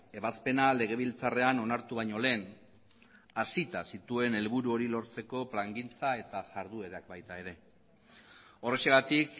ebazpena legebiltzarrean onartu baino lehen hasita zituen helburu hori lortzeko plangintza eta jarduerak baita ere horrexegatik